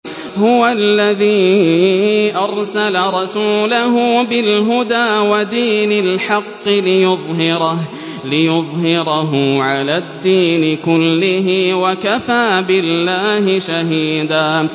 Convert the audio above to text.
هُوَ الَّذِي أَرْسَلَ رَسُولَهُ بِالْهُدَىٰ وَدِينِ الْحَقِّ لِيُظْهِرَهُ عَلَى الدِّينِ كُلِّهِ ۚ وَكَفَىٰ بِاللَّهِ شَهِيدًا